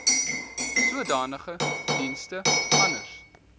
sodanige dienste anders